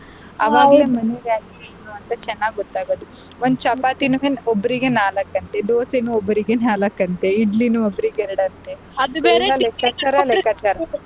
ಚೆನ್ನಾಗ್ ಗೊತ್ತಾಗೋದು ಒಂದ್ ಚೆಪಾತೀನು ಒಬ್ರಿಗೆ ನಾಲಕ್ಕಂತೆ ಒಂದ್ ದೋಸೆನುಒಬ್ರಿಗೆ ನಾಲಕ್ಕಂತೆ ಇಡ್ಲಿನೂ ಒಬ್ರಿಗೆ ಎರಡಂತೆ ಎಲ್ಲ ಲೆಕ್ಕಾಚಾರ ಲೆಕ್ಕಾಚಾರ.